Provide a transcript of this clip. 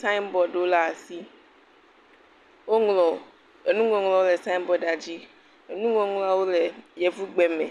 signboardwo ɖe asi, woŋlɔ enuŋɔŋlɔ le signboard la dzi.